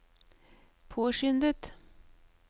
påskyndet